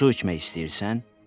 Su içmək istəyirsən?